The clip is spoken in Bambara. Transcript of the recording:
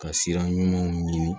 Ka sira ɲumanw ɲini